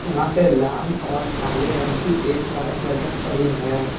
यहां पे लाल और काले रंग की एक वायर लटक रही है।